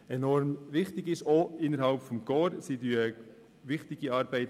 Sie leisten auch innerhalb des Korps wichtige Arbeit.